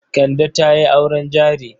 Kande ta yi auren jari.